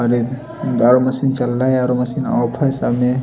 दारू मशीन चल रहा है आ_रो मशीन सामने।